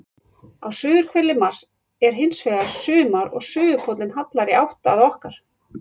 Á suðurhveli Mars er hins vegar sumar og suðurpóllinn hallar í átt að okkar.